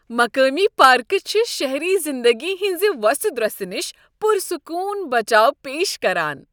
مقٲمی پارکہٕ چھ شہری زندگی ہنٛزِ وو٘سہِ دروسہِ نش پرسکون بچاو پیش کران۔